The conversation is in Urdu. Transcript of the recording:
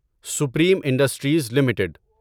supreme industries limited